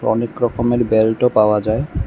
অনেক রকমের বেল্টও পাওয়া যায়।